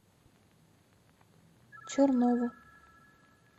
чернову